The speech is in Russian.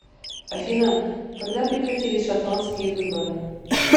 афина когда прекратились шотландские выборы